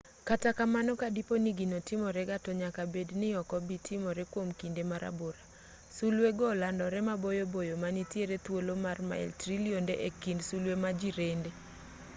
kata kamano ka dipo ni gino timore ga to nyaka bed ni ok obi timore kwom kinde marabora sulwe go olandore maboyo boyo ma nitiere thuolo mar mail trilionde e kind sulwe ma jirende